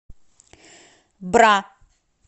бра